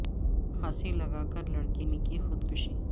پھا نسی لگا کر لڑکی نے کی خود کشی